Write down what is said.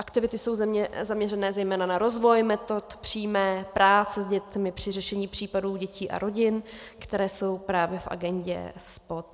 Aktivity jsou zaměřené zejména na rozvoj metod přímé práce s dětmi při řešení případů dětí a rodin, které jsou právě v agendě SPOD.